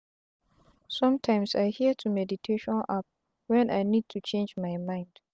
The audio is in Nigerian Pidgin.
sometimes i hear to meditation app wen i need to change my mind.